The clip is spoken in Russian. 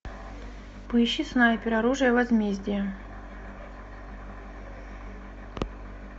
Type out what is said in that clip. поищи снайпер оружие возмездия